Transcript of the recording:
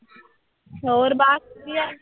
ਹੋਰ ਬਸ ਵਧੀਆ।